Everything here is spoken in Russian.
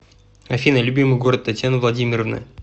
афина любимый город татьяны владимировны